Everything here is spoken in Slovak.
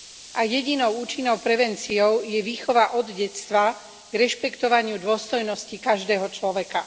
A jedinou účinnou prevenciou je výchova od detstva k rešpektovaniu dôstojnosti každého človeka.